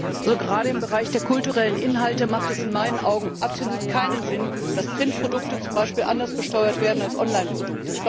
Gerade im Bereich der kulturellen Inhalte hat es in meinen Augen absolut keinen Sinn, dass Printprodukte zum Beispiel anders besteuert werden als Online Produkte.